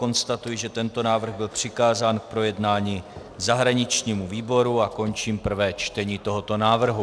Konstatuji, že tento návrh byl přikázán k projednání zahraničnímu výboru a končím prvé čtení tohoto návrhu.